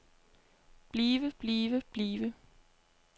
blive blive blive